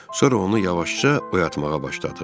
Sonra onu yavaşca oyatmağa başladıq.